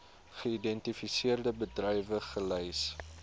geïdentifiseerde bedrywe gelys